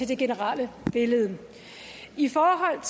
det generelle billede i forhold